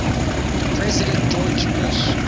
president george bush